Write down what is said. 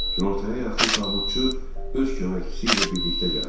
Günortaya yaxın tabutçu öz köməkçisi ilə birlikdə gəldi.